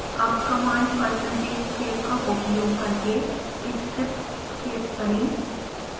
अब command percentage save का उपयोग करके स्क्रिप्ट सेव करें